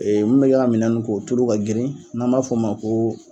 Mun bɛ ka minɛn ninnu ko o tulu ka girin n'an b'a f'o ma ko